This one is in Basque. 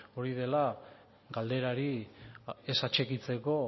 hori dela galderari ez atxikitzeko